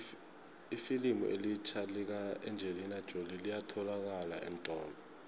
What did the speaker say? ifilimu elitjha lika engelina jolie liyatholalakala eentolo